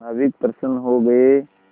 नाविक प्रसन्न हो गए